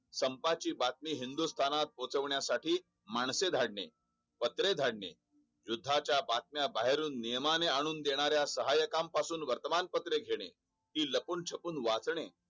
संपाची बातमी हिंदुस्थात पोहोचवण्यासाठी माणसे धाडणे पत्रे धाडणे युध्याच्या बातम्या बाहेरून नियमाने आणून देणाऱ्या सहकास पासून वर्तमानपत्रे घेणे हि लपूनछपून वाचणे